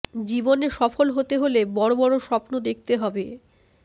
জীবনে সফল হতে হলে বড় বড় স্বপ্ন দেখতে হবে